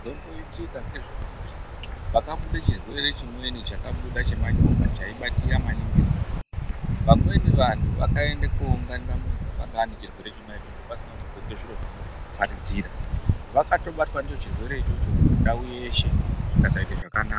Zvinomboitika ndezvekuti pakabude chirwere chimweni chakabuda chemanyoka chaibatira maningi vantu Vamweni vantu vakaenda kowunginira muntu wakanga ane chirwere ichocho vasina kudxoke zviro zvinovharidzira, vakatobatwa ndicho chirwere ichocho ndau yeshe zvikasatoite zvakanaka.